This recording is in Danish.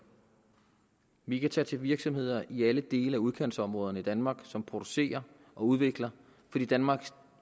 vi kan tage til virksomheder i alle dele af udkantsområderne i danmark som producerer og udvikler fordi danmark